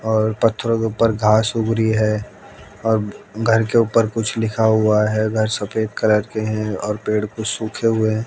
और पत्थरो के ऊपर घास उग रही है और घर के ऊपर कुछ लिखा हुआ है घर सफेद कलर के हैं और पेड़ कुछ सूखे हुए--